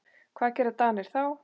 Hvað gera Danir þá?